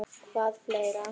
Hvað fleira?